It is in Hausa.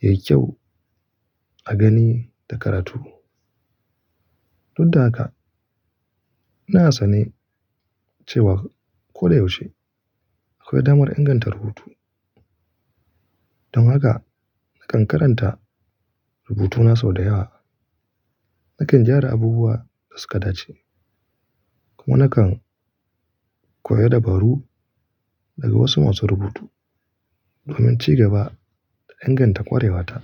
yayi kyau a gani da karatu. Duk da haka, ina sane cewa koyaushe akwai damar inganta rubutu. Don haka, nakan karanta rubutuna sau da yawa, nakan gyara abubuwa dasuka dace, kuma nakan koya dabaru daga wasu masu rubutu domin cigaba da inganta ƙwarewata.